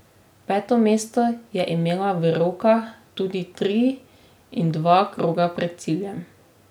Peto mesto je imela v rokah tudi tri in dva kroga pred ciljem.